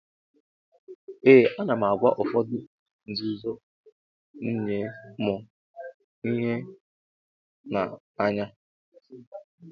Ee anam agwa ụfọdu ihe nzuzom nye mu hu na anya.